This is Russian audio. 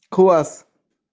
класс